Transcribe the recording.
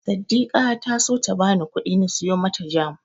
Saddika ta so ta bani kuɗi na siyo mata Jam.